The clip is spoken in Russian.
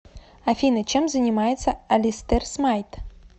афина чем занимается алистер смайт